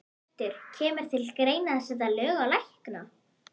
Hjörtur: Kemur til greina að setja lög á lækna?